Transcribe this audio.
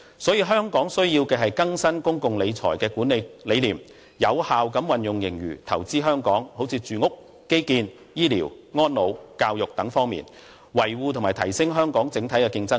所以，香港必須更新公共財政的管理哲學，有效地把盈餘投資於香港，例如住屋、基建、醫療、安老和教育等方面，以維護和提升香港整體競爭力。